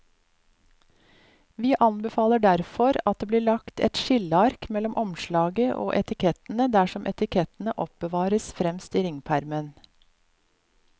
Vi anbefaler derfor at det blir lagt et skilleark mellom omslaget og etikettene dersom etikettene oppbevares fremst i ringpermen.